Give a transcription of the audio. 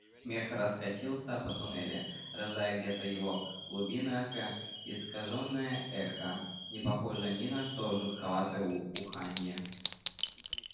смех раскатился по туннелю рождая где-то в его глубинах искажённое эхо не похожее ни на что жутковатое уханье